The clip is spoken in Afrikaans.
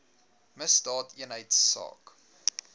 misdaadeenheidsaak